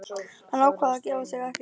Hann ákvað að gefa sig ekki.